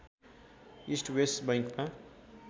east west बैङ्कमा